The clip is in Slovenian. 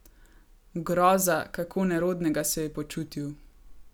Groza, kako nerodnega se je počutil.